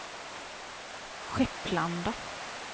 Skepplanda